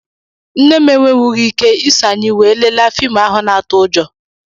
Nne m enwewughi ike iso anyị wee lelee fiimu ahụ na-atụ ụjọ.